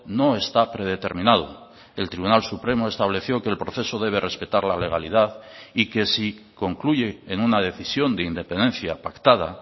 no está predeterminado el tribunal supremo estableció que el proceso debe respetar la legalidad y que si concluye en una decisión de independencia pactada